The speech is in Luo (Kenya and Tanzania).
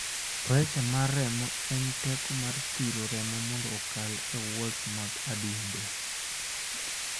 pressure mar remo en teko ma thiro remo mondo okal e walls mag adundo